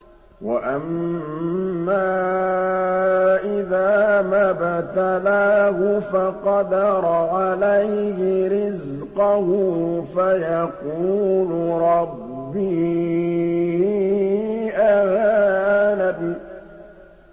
وَأَمَّا إِذَا مَا ابْتَلَاهُ فَقَدَرَ عَلَيْهِ رِزْقَهُ فَيَقُولُ رَبِّي أَهَانَنِ